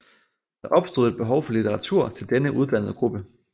Der opstod et behov for litteratur til denne uddannede gruppe